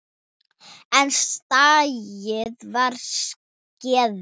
En skaðinn var skeður.